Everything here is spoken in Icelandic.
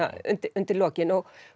undir lokin